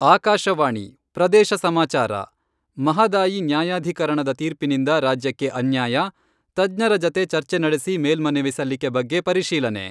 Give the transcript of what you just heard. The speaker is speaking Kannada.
ಆಕಾಶವಾಣಿ, ಪ್ರದೇಶ ಸಮಾಚಾರ, ಮಹದಾಯಿ ನ್ಯಾಯಾಧೀಕರಣದ ತೀರ್ಪಿನಿಂದ ರಾಜ್ಯಕ್ಕೆ ಅನ್ಯಾಯ , ತಜ್ಞರ ಜತೆ ಚರ್ಚೆ ನಡೆಸಿ ಮೇಲ್ಮನವಿ ಸಲ್ಲಿಕೆ ಬಗ್ಗೆ ಪರಿಶೀಲನೆ.